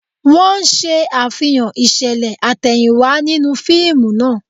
Wọ́n ń ṣe Àfihàn ìṣẹ̀lẹ̀ àtẹ̀yìnwá nínú fíìmù náà